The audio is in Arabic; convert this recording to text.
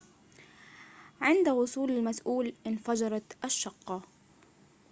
عند وصول المسئول انفجرت الشقة